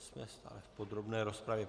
Jsme stále v podrobné rozpravě.